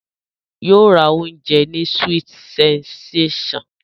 Yóò ra oúnjẹ ní sweet sensation